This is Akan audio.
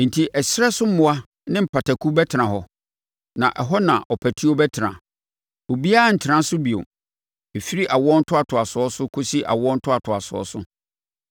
“Enti ɛserɛ so mmoa ne mpataku bɛtena hɔ, na ɛhɔ na ɔpatuo bɛtena. Obiara rentena so bio ɛfiri awoɔ ntoatoasoɔ kɔsi awoɔ ntoatoasoɔ.